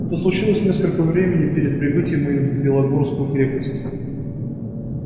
это случилось несколько времени перед прибытием моим в белогорскую крепость